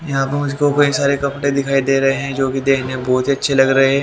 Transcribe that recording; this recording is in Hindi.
यहां पे सारे कपड़े दिखाई दे रहे हैं जो की देखने में बहोत अच्छे लग रहे हैं।